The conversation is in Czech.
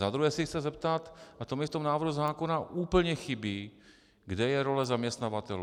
Za druhé se chci zeptat, a to mi v tom návrhu zákona úplně chybí, kde je role zaměstnavatelů.